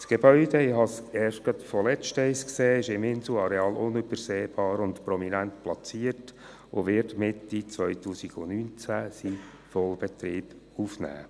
Das Gebäude – ich habe es erst kürzlich gesehen – ist auf dem Inselareal unübersehbar und prominent platziert und wird Mitte 2019 seinen Vollbetrieb aufnehmen.